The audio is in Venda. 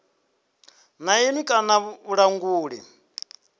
na iṅwe kana ya vhulanguli